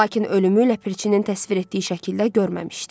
Lakin ölümü ləpirçinin təsvir etdiyi şəkildə görməmişdi.